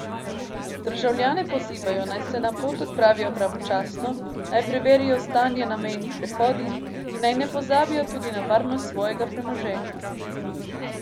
Državljane pozivajo, naj se na pot odpravijo pravočasno, naj preverijo stanje na mejnih prehodih in naj ne pozabijo tudi na varnost svojega premoženja.